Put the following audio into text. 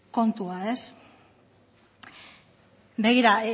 kontua begira